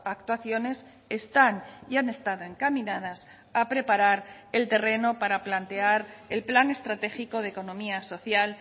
actuaciones están y han estado encaminadas a preparar el terreno para plantear el plan estratégico de economía social